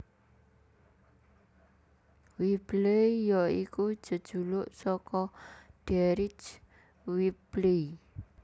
Whibley ya iku jejuluk saka Deryck Whibley